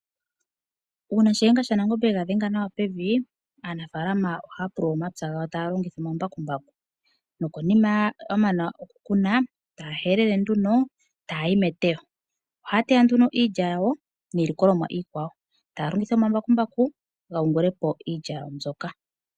Uuna shiyenga shanangombe ega dhenga nawa pevi aanafalama ohaya pulula omapya gawo. Uuna ya mana okukuna ohaya yayi meteyo, taya longitha omambakumbaku ga yungulepo iilya yawo mbyoka.